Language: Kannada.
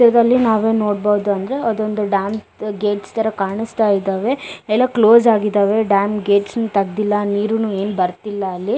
ಚಿತ್ರದಲ್ಲಿ ನಾವು ಏನ್ ನೋಡಬಹುದು ಅಂದ್ರೆ ಅದೊಂದು ಡ್ಯಾಮ್ ಗೇಟ್ಸ್ ತರ ಕಾಣಸ್ತಾ ಇದಾವೆ ಎಲ್ಲಾ ಕ್ಲೋಸ್ ಆಗಿದವೆ ಡ್ಯಾಮ್ ಗೇಟ್ಸ್ ನು ತಗದಿಲ್ಲಾ ನೀರುನು ಏನ್ ಬರಿತ್ತಿಲ್ಲಾ ಅಲ್ಲಿ.